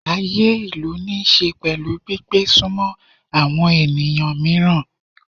Ayé ìlú níí ṣe pẹ̀lú gbígbé sunmọ́ àwọn ènìyàn mìíràn.